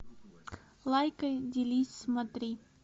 лайкай делись смотри